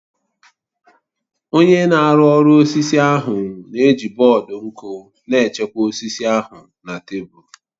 Onye na-arụ ọrụ osisi ahụ na-eji bọọdụ nku na-echekwa osisi ahụ na tebụl